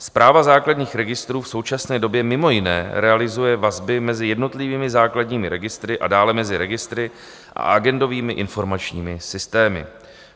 Správa základních registrů v současné době mimo jiné realizuje vazby mezi jednotlivými základními registry a dále mezi registry a agendovými informačními systémy.